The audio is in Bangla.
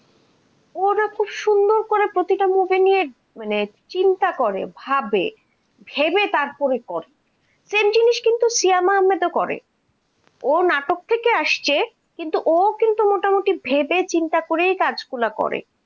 মানে চিন্তা করে ভাবে, ভেবে তারপরে করে, same জিনিস কিন্তু শিয়া আহমাদও করে, ও নাটক থেকে আসছে কিন্তু ও কিন্তু মোটামুটি ভেবে চিন্তা করে তারপরেই কাজগুলা করে।